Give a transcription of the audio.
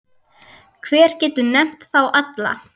Hver getur nefnt þá alla?